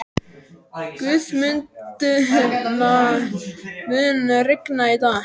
Guðmundína, mun rigna í dag?